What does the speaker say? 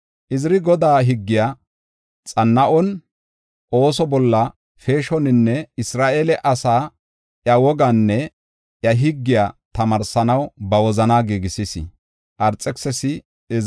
Iziri Godaa higgiya xanna7on, ooso bolla peeshoninne Isra7eele asaa iya wogaanne iya higgiya tamaarsanaw ba wozanaa giigisis.